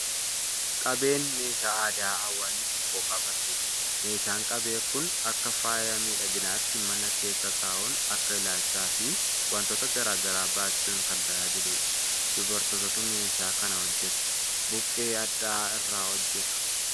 Qabeen meeshaa aadaa hawaasni tokko qabatudha. Meeshaan qabee kun akka faaya miidhaginaatti mana keessa taa'uun akka ilaalchaa fi waantota garaa garaa baachuun kan tajaajiludha. Dubartootatu meeshaa kana hojjeta. Buqqee hadhaa'aa irraa hojjetu.